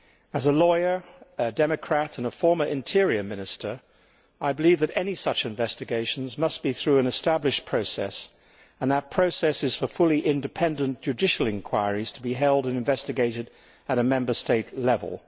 As a lawyer, a democrat and a former interior minister, I believe that any such investigations must be through an established process, and that process is for fully independent, judicial inquiries to be held and investigated at Member State level.